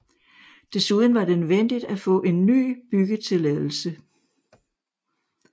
Desuden var det nødvendigt at få en ny byggetilladelse